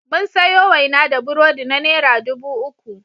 Mun sayo waina da burodi na naira dubu uku.